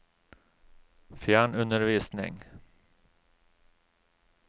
fjernundervisning